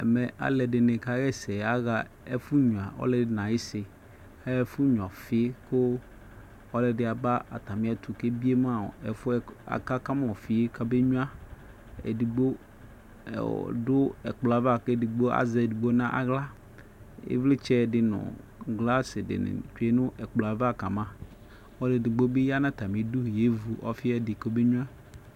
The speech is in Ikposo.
ɛmɛ uvi dɩ nʊ ayʊ isi aɣa ɛfʊ nyuǝ ɔfi, kʊ ɔlɔdɩ aba atamietʊ kʊ akama ɔfi kamenyuǝ, edigbo lɛ nʊ ɛkpɔ yɛ ava, kʊ azɛ edigbo nʊ aɣla, ivlitsɛ dɩ nʊ glasi dɩnɩ lɛ nʊ ɛkplɔ yɛ ava kama, ɔlʊ edigbo bɩ ya nʊ atamidu avu ɔfi yɛ ɛdɩ komenyuǝ